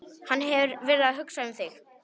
Hann hefur verið að hugsa um þig.